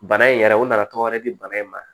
Bana in yɛrɛ u nana tɔgɔ wɛrɛ di bana in ma